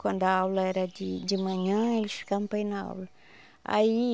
Quando a aula era de de manhã, eles ficavam para ir na aula aí.